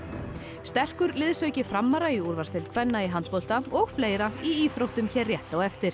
sterkur liðsauki framara í úrvalsdeild kvenna í handbolta og fleira í íþróttum hér rétt á eftir